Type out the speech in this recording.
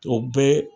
O bɛɛ